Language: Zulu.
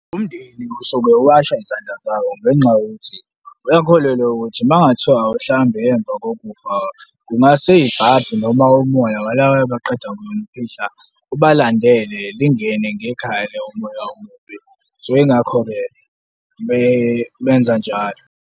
Umndeni usuke uwasha izandla zawo ngenxa yokuthi uyakholelwa ukuthi mangathiwa awumhlambi ngemva kokufa, kungase ibhadi noma umoya waloyo abaqeda kumfihla ubalandele, lingene ngekhaya loyo umoya omubi, so yingakho-ke benza njalo.